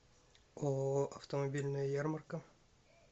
ооо автомобильная ярмарка